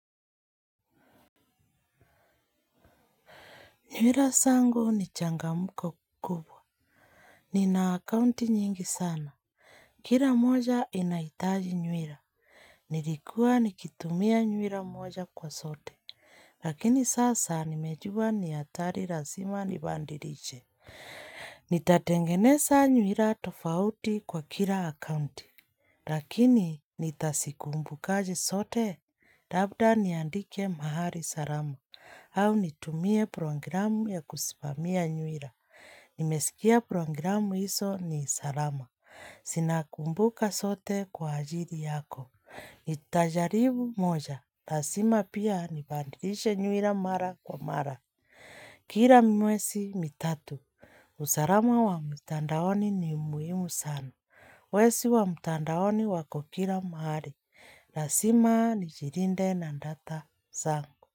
Nywira sangu ni changamuko kubwa. Nina akaunti nyingi sana. Kira moja inaitaji nywira. Nilikua nikitumia nywira moja kwa sote. Lakini sasa nimejua ni atari razima nibandiriche. Nitatengenesa nywira tofauti kwa kira akaunti. Lakini, nitasikumbukaje sote, labda niandike mahali salama, au nitumie programu ya kusimamia nywira. Nimesikia programu iso ni salama. Sina kumbuka sote kwa ajiri yako. Nitajaribu moja, lasima pia nibandilishe nywira mara kwa mara. Kira mwesi mitatu, usarama wa mtandaoni ni muhimu sana Wesi wa mtandaoni wako kila mahali, rasima nijirinde na ndata sangu.